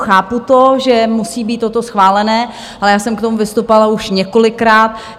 Chápu to, že musí být toto schváleno, ale já jsem k tomu vystupovala už několikrát.